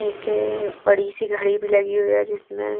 एक बड़ी सी घड़ी भी लगी हुई है जिसमें--